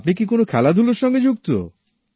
আপনি কি কোন খেলাধুলোর সঙ্গে যুক্ত